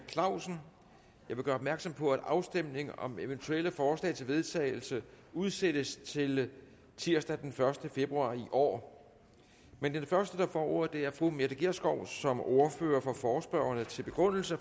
vil gøre opmærksom på at afstemning om eventuelle forslag til vedtagelse udsættes til tirsdag den første februar i år men den første der får ordet er fru mette gjerskov som ordfører for forespørgerne til begrundelse